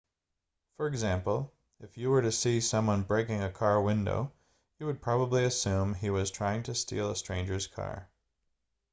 for example if you were to see someone breaking a car window you would probably assume he was trying to steal a stranger's car